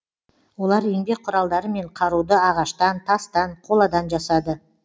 олар еңбек құралдары мен қаруды ағаштан тастан қоладан жасады